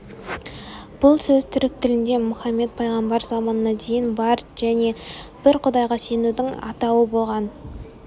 бұл сөз түрік тілінде мұхаммет пайғамбар заманына дейін бар және бір құдайға сенудің атауы болған